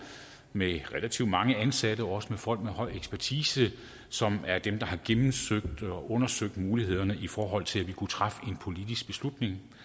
med relativt mange ansatte også folk med høj ekspertise som er dem der har gennemsøgt og undersøgt mulighederne i forhold til at vi kunne træffe en politisk beslutning